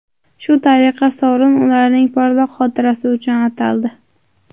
Shu tariqa sovrin ularning porloq xotirasi uchun ataldi.